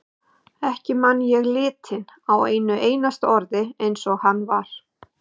Ekki man ég litinn á einu einasta orði eins og hann var.